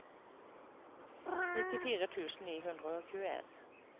nittifire tusen ni hundre og tjueen